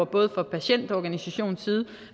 både fra patientorganisationens side